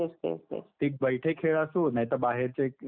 एक बैठे खेळ असो नाहीतर बाहेरचे खेळ असो.